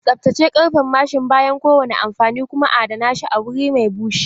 Tsaftace karfen mashin bayan kowane amfani kuma adana shi a wuri mai bushe.